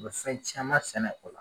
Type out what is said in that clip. U be fɛn caman sɛnɛ o la